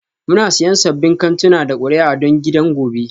Muna siyan sabbin kantuna da kuri'a don gidan gobe